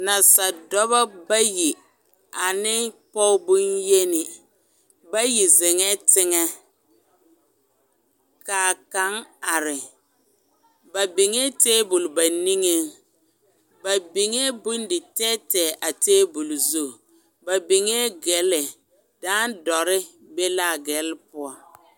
Nasadɔba bayi ane pɔge bonyeni bayi zeŋɛɛ tɛŋɛ ka kaŋ are ba biŋe tabol ba niŋeŋ ba biŋe bonditɛɛtɛɛ a tabol zu ba biŋe gelle dãã dɔre be l,a gelle poɔ.